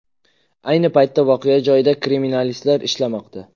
Ayni paytda voqea joyida kriminalistlar ishlamoqda.